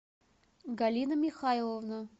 галина михайловна